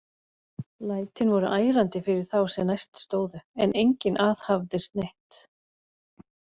Lætin voru ærandi fyrir þá sem næst stóðu, en enginn aðhafðist neitt.